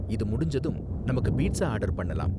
இது முடிஞ்சதும் நமக்கு பீட்ஸா ஆர்டர் பண்ணலாம்.